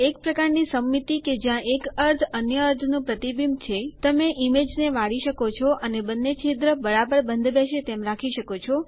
એક પ્રકાર ની સમમિતિ કે જ્યાં એક અર્ધ અન્ય અર્ધ નું પ્રતિબિંબ છે તમે ઈમેજ ને વાળી શકો છો અને બંને છિદ્ર બરાબર બંધબેસે તેમ રાખી શકો છો